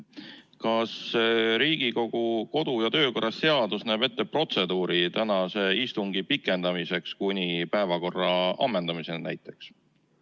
Kas Riigikogu kodu- ja töökorra seadus näeb ette protseduuri tänase istungi pikendamiseks kuni päevakorra ammendamiseni näiteks?